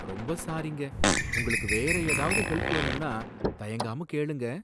ரொம்ப சாரிங்க! உங்களுக்கு வேற ஏதாவது ஹெல்ப் வேணும்னா தயங்காம கேளுங்க.